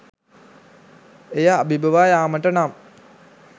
එය අභිබවා යාමට නම්